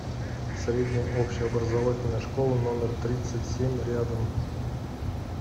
средняя общеобразовательная школа номер тридцать семь рядом